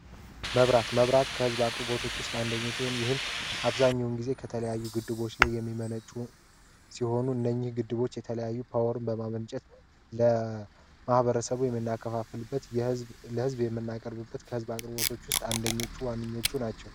መብራት መብራት ከሕዝብ አቅርቦቶች ውስጥ አንደኙ ሲሆን ይህም አብዛኛውን ጊዜ ከተለያዩ ግድቦች ላይ የሚመነጩ ሲሆኑ እነኝህ ግድቦች የተለያዩ ፓወርን በማመንጨት ለማህበረሰቡ የሚናከፋፍልበት ለህዝብ የምናቅርብበት ከሕዝብ አቅርቦቶች ውስጥ አንደኞቹ ዋንኞቹ ናቸው።